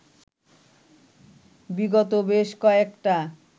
বিগত বেশ কয়েকটা